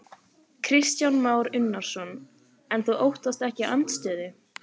Kristján Már Unnarsson: En þú óttast ekki andstöðu?